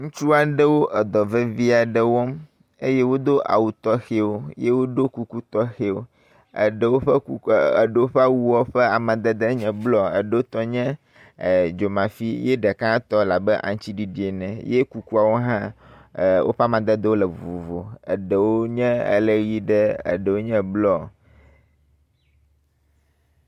Ŋutsu aɖewo edɔ vevi aɖe wɔm eye wodo awu tɔxɛwo ye woɖo kuku tɔxɛwo. Aɖewo ƒe kukua aɖewo ƒe awua ƒe amadede nye blɔ, aɖewo tɔ nye dzomafi ye ɖeka tɔ la be aŋtsiɖiɖi ene ye kukuawo hã woƒe amadedewo vovovo. Aɖewo nye ele ʋi ɖe, aɖewo nye blɔ.